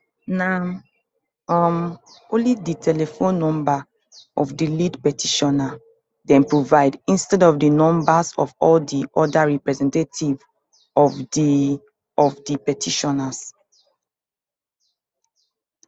na um only di telephone number of di lead petitioner dem provide instead of di numbers of all di oda representatives of di of di petitioners